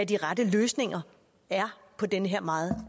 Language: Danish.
de rette løsninger er på den her meget